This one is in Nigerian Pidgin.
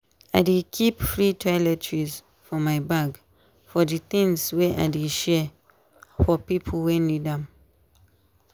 i dey keep free toiletries for my bag for di things wey i dey share for pipo wey need am.